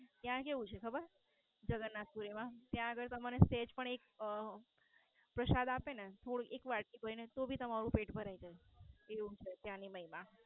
ત્યાં કેવું છે ખબર? જગન્નાથપુરી માં ત્યાં આગળ તમારે એક પ્રસાદ આપે ને તો એક વાટકી ભરી ને તમારું પેટ ભરાય જાય તેવું છે ત્યાંની મહિમા.